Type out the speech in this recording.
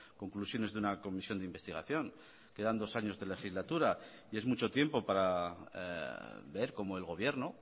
conclusiones de una comisión de investigación quedan dos años de legislatura y es mucho tiempo para ver cómo el gobierno